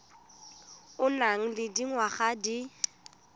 o nang le dingwaga di